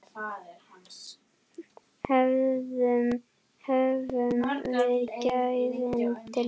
Höfum við gæðin til þess?